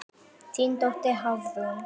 Þín dóttir, Hafrún.